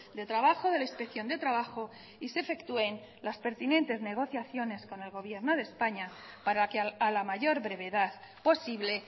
de trabajo de la inspección de trabajo y se efectúen las pertinentes negociaciones con el gobierno de españa para que a la mayor brevedad posible